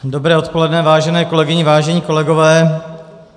Dobré odpoledne, vážené kolegyně, vážení kolegové.